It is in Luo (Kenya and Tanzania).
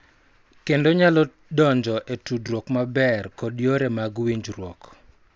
Kendo nyalo donjo e tudruok maber kod yore mag winjruok.